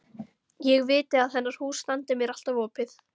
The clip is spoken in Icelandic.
Ég viti að hennar hús standi mér alltaf opið.